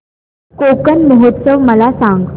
कोकण महोत्सव मला सांग